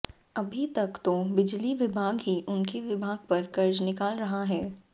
अभी तक तो बिजली विभाग ही उनके विभाग पर कर्ज निकाल रहा है